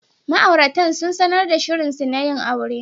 Ma'auratan sun sanar da shirinsu na yin aure.